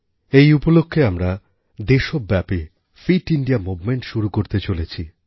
এই উপলক্ষে আমরা দেশব্যাপীফিট ইন্ডিয়া মুভমেন্ট শুরু করতে চলেছি